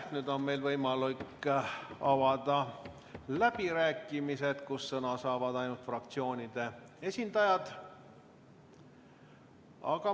Nüüd on meil võimalik avada läbirääkimised, kus sõna saavad ainult fraktsioonide esindajad.